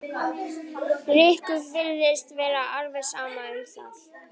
Rikku virtist vera alveg sama um það.